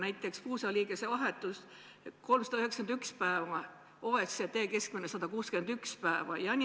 Näiteks puusaliigese vahetust tuleb oodata keskmiselt 391 päeva, OECD keskmine on 161 päeva.